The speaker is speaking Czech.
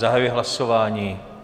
Zahajuji hlasování.